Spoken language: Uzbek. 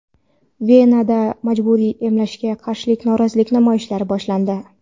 Venada majburiy emlashga qarshi norozilik namoyishlari boshlandi.